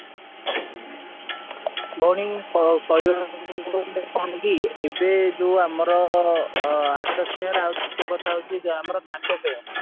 ଭଉଣୀ ତ କହିବାକୁ ଏବେ ଯୋଉ ଆମର atmosphere ଆଉ ଦ୍ଵିତୀୟ କଥା ହେଉଛି କି ଆମର ଖାଦ୍ୟ ପେୟ